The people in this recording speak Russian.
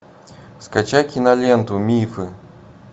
скачай киноленту мифы